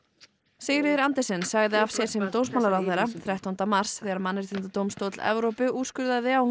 Sigríður Andersen sagði af sér sem dómsmálaráðherra þrettánda mars þegar Mannréttindadómstóll Evrópu úrskurðaði að hún